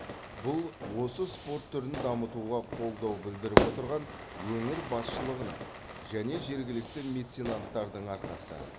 бұл осы спорт түрін дамытуға қолдау білдіріп отырған өңір басшылығының және жергілікті меценанттардың арқасы